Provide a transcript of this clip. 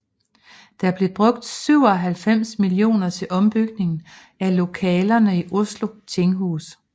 Der blev brugt 97 millioner til ombygning af lokalerne i Oslo tinghus